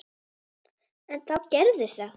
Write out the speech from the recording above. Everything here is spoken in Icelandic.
En þá gerðist það.